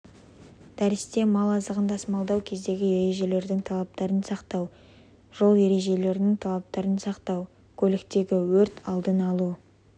дәрісте мал азығын тасымалдау кезіндегі ережелердің талаптарын сақтау жол ережелерінің талаптарын сақтау көліктегі өрт алдын алу